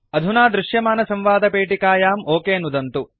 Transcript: अधुना दृश्यमानसंवादपेटिकायां ओक नुदन्तु